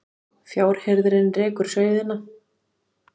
Fjárhirðirinn rekur sauðina